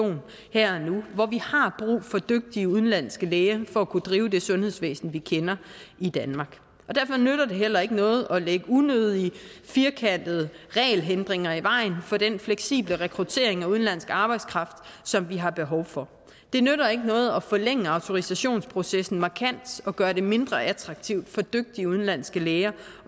her og nu hvor vi har brug for dygtige udenlandske læger for at kunne drive det sundhedsvæsen vi kender i danmark og derfor nytter det heller ikke noget at lægge unødige firkantede regelhindringer i vejen for den fleksible rekruttering af udenlandsk arbejdskraft som vi har behov for det nytter ikke noget at forlænge autorisationsprocessen markant og gøre det mindre attraktivt for dygtige udenlandske læger